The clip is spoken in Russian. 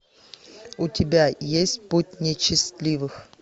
у тебя есть путь нечестивых